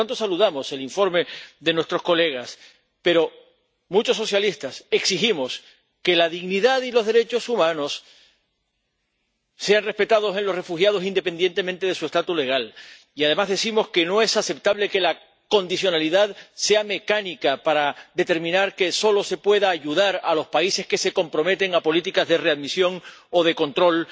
Y, por tanto, saludamos el informe de nuestros colegas, pero muchos socialistas exigimos que la dignidad y los derechos humanos sean respetados en los refugiados independientemente de su estatus legal y, además, decimos que no es aceptable que la condicionalidad sea mecánica para determinar que solo se pueda ayudar a los países que se comprometen a políticas de readmisión o de control,